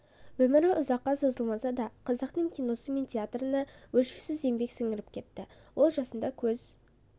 өмірі ұзаққа созылмаса да қазақ киносы мен театрына өлшеусіз еңбек сіңіріп кетті ол жасында көз